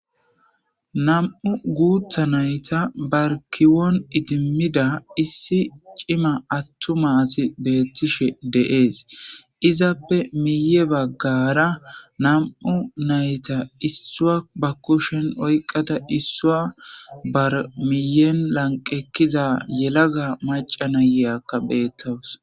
Nam'u guutha nayta barkiwon idimmida issi cima attumaasi beettishe deees izappe miye baggara nam'u nayta issua ba kushen oyqada issua barmiyen lanqekkiza yelaga maca nayeyakka beettowus.